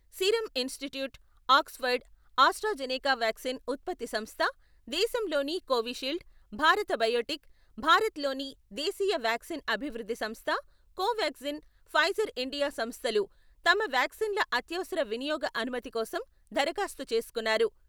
serum Institute, Oxford, AstraZeneca vaccine ఉత్పత్తి సంస్థ, దేశంలోని కోవిషీల్డ్, భారత్ బయోటెక్, భారత్ లోని దేశీయ వ్యాక్సిన్ అభివృద్ధి సంస్థ, కోవ్యాగ్జిన్, ఫైజర్ ఇండియా సంస్థలు తమ వ్యాక్సిన్ ల అత్యవసర వినియోగ అనుమతికోసం దరఖాస్తు చేసుకున్నారు......